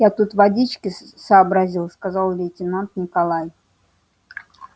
я тут водички сообразил сказал лейтенант николай